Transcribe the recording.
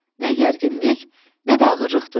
Nə gərginlik, nə də ağırlıq duydu.